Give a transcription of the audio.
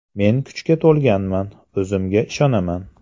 Men kuchaga to‘lganman, o‘zimga ishonaman.